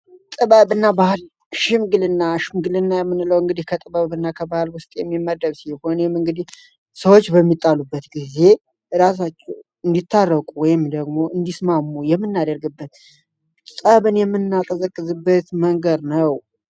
ጥበብና ባህል ሽምግልና ሽምግልና ምንለው እንግዲህ ከጥበብ እና ከባህል ውስጥ የሚመደብ ሲሆን ይህም እንግዲህ ሰዎች በሚጣሉበት ጊዜ እራሳቸው እንዲታረቁ ወይም ደግሞ እንዲስማሙ የምናደርግበት ንጸብን የምናቀዝበት መንገድ ነው።